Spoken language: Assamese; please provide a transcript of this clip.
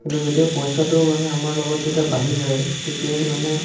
কিন্তু যেতিয়া পইচাটো মানে আমাৰ লগত যেতিয়া বাঢ়ি যায় তেতিয়াহে মানে